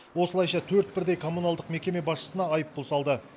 осылайша төрт бірдей коммуналдық мекеме басшысына айыппұл салды